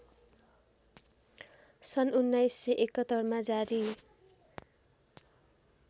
सन् १९७१ मा जारी